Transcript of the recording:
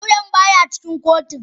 Lauyan baya cikin kotun.